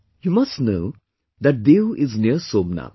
You must know that Diu is near Somnath